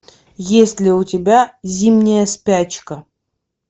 есть ли у тебя зимняя спячка